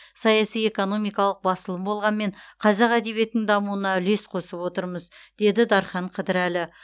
саяси экономикалық басылым болғанмен қазақ әдебиетінің дамуына үлес қосып отырмыз деді дархан қыдырәлі